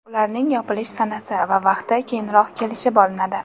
Ularning yopilish sanasi va vaqti keyinroq kelishib olinadi.